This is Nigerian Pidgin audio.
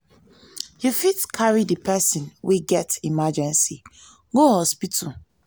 you fit carry di person wey get emergency go hospital